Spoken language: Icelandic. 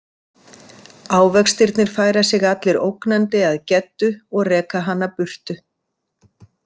Ávextirnir færa sig allir ógnandi að Geddu og reka hana burtu.